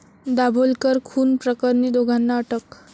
दाभोलकर खून प्रकरणी दोघांना अटक